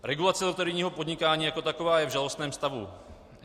Regulace loterijního podnikání jako takového je v žalostném stavu.